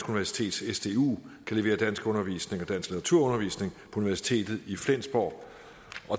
universitet sdu kan levere danskundervisning og litteraturundervisning på universitetet i flensborg